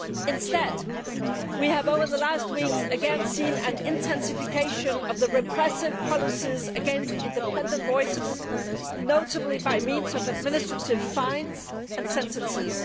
Instead, we have over the last weeks again seen an intensification of the repressive policies against independent voices, notably by means of administrative fines and sentences.